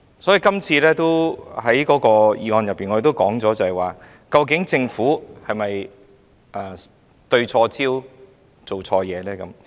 所以，在今天的議案中，我們也提到政府究竟有否對錯焦、做錯事呢？